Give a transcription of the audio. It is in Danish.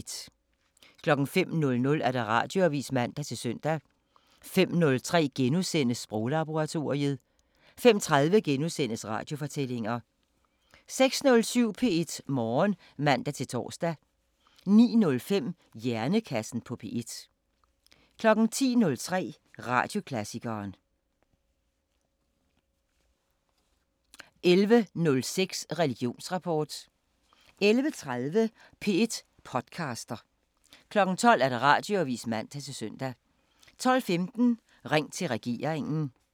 05:00: Radioavisen (man-søn) 05:03: Sproglaboratoriet * 05:30: Radiofortællinger * 06:07: P1 Morgen (man-tor) 09:05: Hjernekassen på P1 10:03: Radioklassikeren 11:06: Religionsrapport 11:30: P1 podcaster 12:00: Radioavisen (man-søn) 12:15: Ring til regeringen